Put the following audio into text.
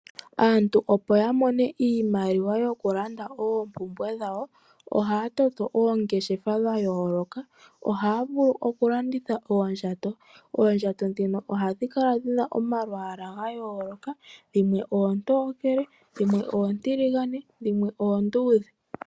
Aantu opo ya mone iimaliwa yokulanda oompumbwe dhawo ohaya toto oongeshefa dhayooloka. Ohaya vulu okulanditha oondjato. Oondjato ndhino ohadhi kala dhina omalwaala gayooloka, dhimwe oontokele, dhimwe oontiligane, dhimwe oonduudhe.